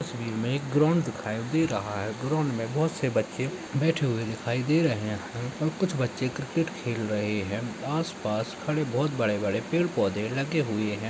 तस्वीर में ग्राउंड दिखाई दे रहा है ग्राउंड में बहुत से बच्चे बैठे हुए दिखाई दे रहे है और कुछ बच्चे क्रिकेट खेल रहे है आस पास खड़े बहुत बड़े बड़े पेड़ पौधे लगे हुए है ।